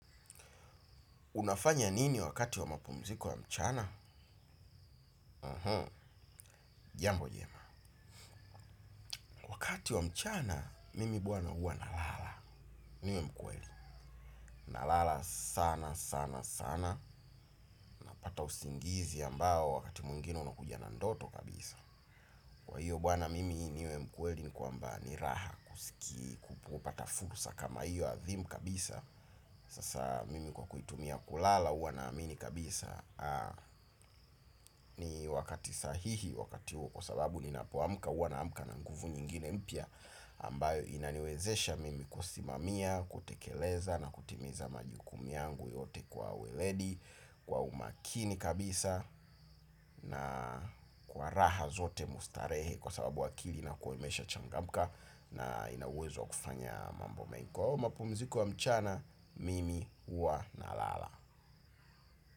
Unafanya nini wakati wa mapumziku wa mchana? Jambo jema. Wakati wa mchana, mimi bwana huwa nalala. Nalala sana sana sana. Ata usingizi ambao wakati mwingine unakuja na ndoto kabisa. Kwa hiyo bwana mimi niwe mkweli ni kwamba ni raha kusiki. Kupata fursa kama hiyo adhimu kabisa. Sasa mimi kwa kuitumia kulala huwa naamini kabisa. Ni wakati sahihi wakati huo sababu ninapoamka huwa naamka na nguvu nyingine mpya ambayo inaniwezesha mimi kusimamia, kutekeleza na kutimiza majukumu yangu yote kwa weledi. Kwa umakini kabisa na kwa raha zote mustarehe kwa sababu akili inakuwa imesha changamka. Na ina uwezo kufanya mambo mengi kwa huo mapumziku wa mchana, mimi huwa na lala.